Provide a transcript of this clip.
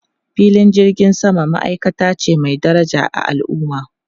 Filin jirgin sama ma'aikata ce mai daraja a al'umma.